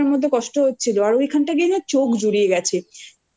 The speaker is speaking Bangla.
মধ্যে কষ্ট হচ্ছিল এতো গরমের মধ্যে কষ্ট হচ্ছিল আর ওইখান থেকেই না চোখ জুড়িয়ে গেছে।